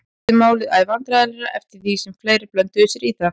Honum þótti málið æ vandræðalegra eftir því sem fleiri blönduðu sér í það.